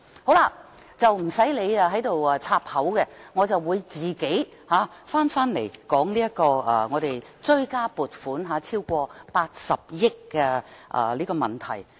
代理主席你不用打斷我的發言，我會自行返回討論追加撥款超過80億元的問題。